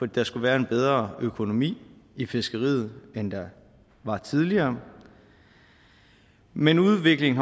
der skulle være en bedre økonomi i fiskeriet end været tidligere men udviklingen